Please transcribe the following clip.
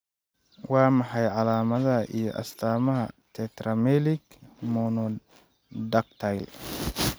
Waa maxay calaamadaha iyo astaamaha tetramelic monodactyly?